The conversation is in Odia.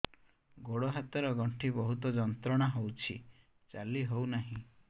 ଗୋଡ଼ ହାତ ର ଗଣ୍ଠି ବହୁତ ଯନ୍ତ୍ରଣା ହଉଛି ଚାଲି ହଉନାହିଁ